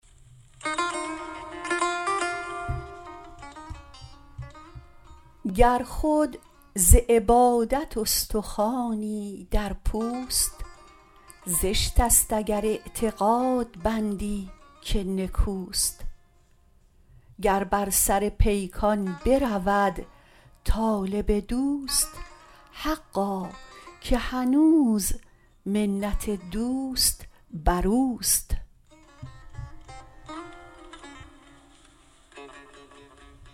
گر خود ز عبادت استخوانی در پوست زشتست اگر اعتقاد بندی که نکوست گر بر سر پیکان برود طالب دوست حقا که هنوز منت دوست بروست